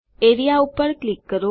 A R E A પર click કરો